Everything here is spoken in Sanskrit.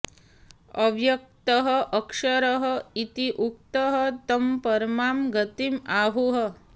अव्यक्तः अक्षरः इति उक्तः तं परमां गतिम् आहुः